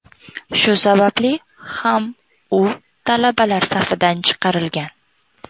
Shu sababli ham u talabalar safidan chiqarilgan.